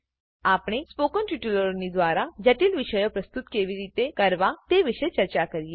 આપણે સ્પોકન ટ્યુટોરિયલોની દ્વારા જટિલ વિષયો પ્રસ્તુત કેવી રીતેકરવા તે વિષે ચર્ચા કરીએ